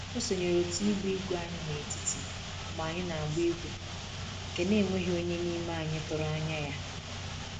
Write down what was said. O sonyere otu ịgba igwe anyị n'etiti mgbe anyị n'agba igwe nke na enweghị onye n'ime anyị tụrụ anya ya